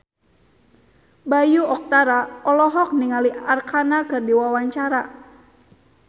Bayu Octara olohok ningali Arkarna keur diwawancara